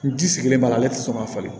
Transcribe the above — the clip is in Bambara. N ji sigilen b'a la ale ti sɔn ka falen